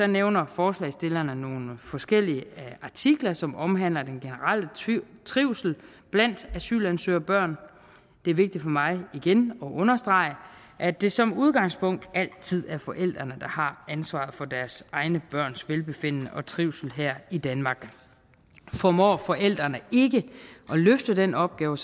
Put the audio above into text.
nævner forslagsstillerne nogle forskellige artikler som omhandler den generelle trivsel blandt asylansøgerbørn det er vigtigt for mig igen at understrege at det som udgangspunkt altid er forældrene der har ansvaret for deres egne børns velbefindende og trivsel her i danmark formår forældrene ikke at løfte den opgave